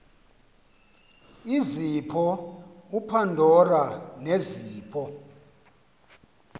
izipho upandora nezipho